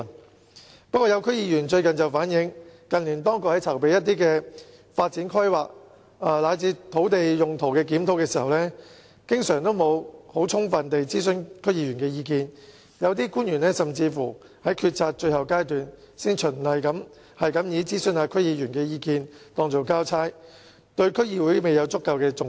不過，最近有區議員反映，指當局近年在進行一些發展規劃及土地用途的檢討時，經常沒有充分地諮詢區議員意見，有些官員甚至是在決策的最後階段，才循例地諮詢區議員意見當作交差，對區議會沒有足夠重視。